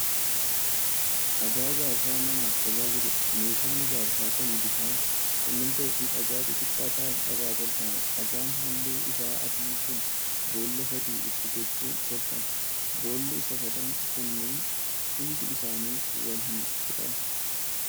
Dhagaa ijaarsa manaaf tajaajiluudha. meeshaan ijaarsaa kun bishaan, simmintoo fi dhagaa xixiqqaa ta'aan irra tolfama. dhagaan halluun isaa adii kun boolla sadii itti gochuun tolfama. Boolli isaa sadan kunneen hundi isaanii wal hin qixan.